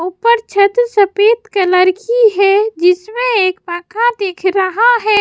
ऊपर छत सफेद कलर की है जिसमें एक पंखा दिख रहा है।